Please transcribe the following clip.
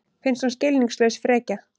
Finnst hún skilningslaus frekja.